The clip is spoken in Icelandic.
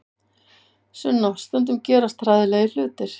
Sunna, stundum gerast hræðilegir hlutir.